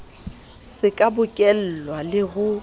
se ka bokellwa le ho